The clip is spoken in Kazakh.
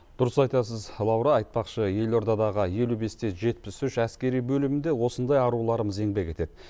дұрыс айтасыз лаура айтпақшы елордадағы елу бесте жетпіс үш әскери бөлімінде осындай аруларымыз еңбек етеді